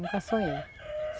Nunca sonhei.